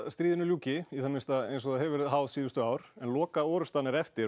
stríðinu ljúki í það minnsta eins og það hefur verið háð síðustu ár en lokaorustan er eftir